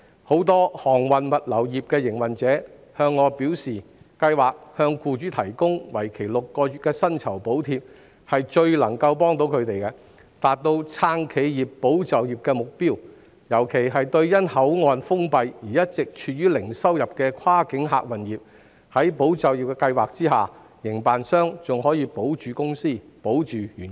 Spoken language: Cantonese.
很多航運物流業的營運者向我表示，該計劃向僱主提供為期6個月的薪酬補貼，是最能夠幫助到他們，並達到"撐企業、保就業"的目標，尤其是因口岸封閉而一直處於零收入的跨境客運業，在"保就業"計劃下，營辦商仍可保着公司和員工。